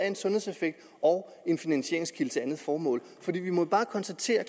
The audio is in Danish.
en sundhedseffekt og en finansieringskilde til andet formål for vi må bare konstatere